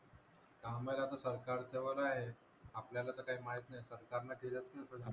का माहित आता सरकार च्या वर आहे आपल्याला तर काही माहित नाही सरकार न केल असतील.